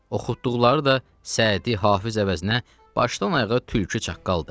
Oxutduqları da Səədi Hafiz əvəzinə başdan ayağa tülkü çaqqaldır.